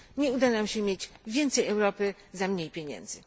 Nie uda nam się mieć więcej Europy za mniej pieniędzy.